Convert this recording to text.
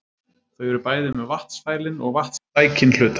Þau eru bæði með vatnsfælinn og vatnssækinn hluta.